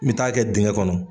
N bɛ taa kɛ dingɛ kɔnɔ.